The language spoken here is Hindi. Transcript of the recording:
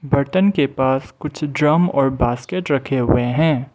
बटन के पास कुछ ड्रम और बास्केट रखे हुए हैं।